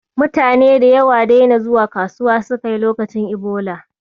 Mutane da yawa daina zuwa kasuwa suka yi lokacin Ebola.